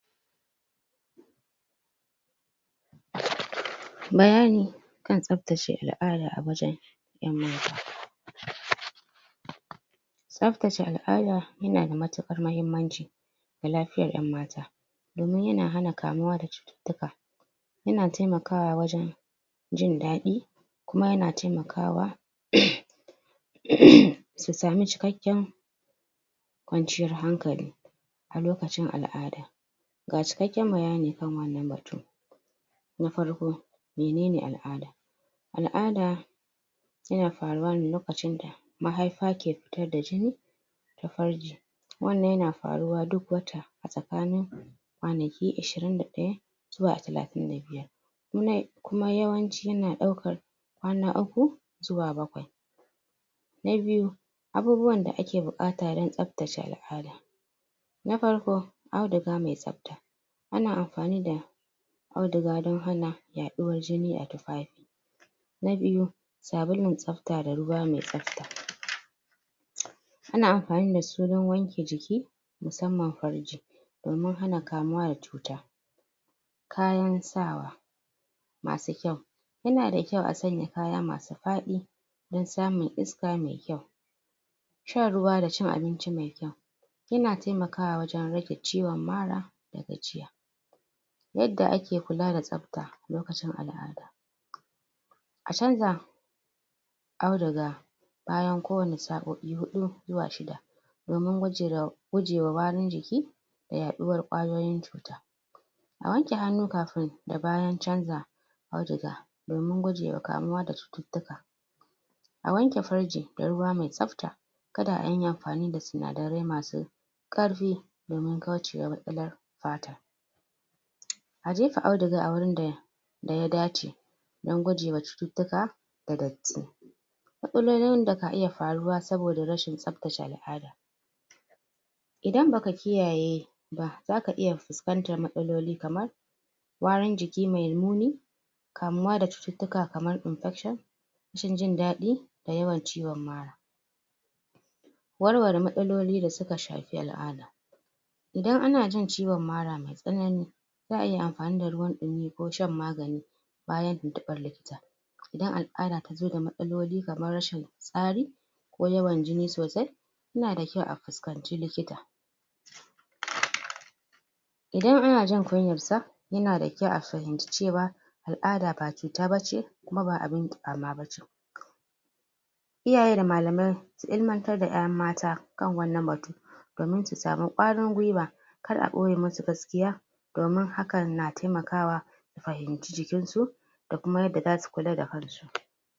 bayani kan tsaftace al'ada a wajen 'yan mata tsaftace al'ada yana da matuƙar mahimmanci ga lafiyar 'yan mata domin ya na hana kamuwa da cututtuka ya na taimakawa wajen jin daɗi kuma yana taimakawa uhmm uhm uhmm su sami cikakken kwanciyar hankali a lokacin al'ada ga cikakken bayani kan wannan batu na farko mene ne al'ada al'ada yana faruwa ne lokacin da mahaifa ke fitar da jini da farji wannan yana faruwa duk wata a tsakanin kwanaki ishirin da ɗaya zuwa talatin da biyar? kuma yawanci yana ɗaukar kwana uku zuwa bakwai na biyu abubuwan da ake buƙata don tsaftace al'ada na farko auduga mai tsafta ana amfani da auduga don hana yaɗuwar jini a tufafi na biyu sabulun tsafta da ruwa mai tsafta ana amfani da su dan wanke jiki musamman farji domin hana kamuwa da cuta kayan sawa masu kyau yana da kyau a sanya kaya ma su faɗi dan samun iska mai kyau shan ruwa da cin abinci mai kyau yana taimakawa wajen rage ciwon mara da gajiya yadda ake kula da tsafte lokacin al'ada a canza auduga bayan ko wane sao'i huɗu zuwa shida domin gujirau gujewa warin jiki yaɗuwar kwayoyin cuta a wanke hannu kafin da bayan canza auduga domin gujewa kamuwa da cututtuka a wanke farji da ruwa mai tsafta kada anyi amfani da sinadarai masu ƙarfi domin kaucewa matsalar fata a jefa auduga a wurinda da ya dace dan gujewa cututtuka da datti matsalolin da ka iya faruwa saboda rashin tsaftace al'ada idan baka kiyaye ba zaka iya fuskantar matsaloli kamar warin jiki mai muni kamuwa da cututtuka kamar infection rashin jin daɗi da yawan ciwon mara warware matsaloli da suka shafi al'ada idan ana jin ciwon mara mai tsanani za'a iya amfani da ruwan ɗumi ko shan magani? idan al'ada tazo da matsaloli kamar rashin tsari ko yawan jini sosai inna da kyau a fuskanci likita idan ana jin kunyar sa yana da kyau a fahimci cewa al'ada ba cuta ba ce kuma ba abin kyama ba ce iyaye da malamai su ilimantar da 'yan mata kan wannan batun domin su sami ƙwarin gwiwa kar a ɓoye musu gaskiya domin hakan na taimakawa a fahimci jikin su a kuma yadda zasu kula da kansu